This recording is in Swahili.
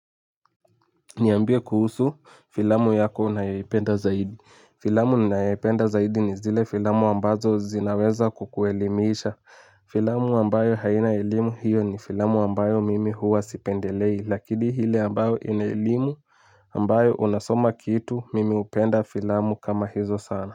Niambie kuhusu filamu yako unayoipenda zaidi filamu ninayoipenda zaidi ni zile filamu ambazo zinaweza kukuelimisha filamu ambayo haina elimi iyo ni filamu ambayo hiwa sipendelei lakini filamu ile ambayo ambayo unasoma kitu mimi hupenda filamu kama hizo sana.